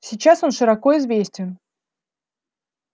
сейчас он широко известен